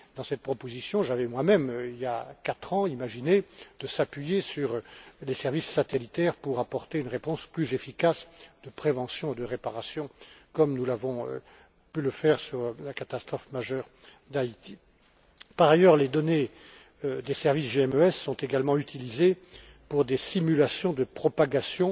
Dans cette proposition, j'avais moi même, il y a quatre ans, imaginé de nous appuyer sur les services satellitaires pour apporter une réponse plus efficace de prévention, de réparation, comme nous avons pu le faire lors de la catastrophe majeure d'Haïti. Par ailleurs, les données des services GMES sont également utilisées pour des simulations de propagation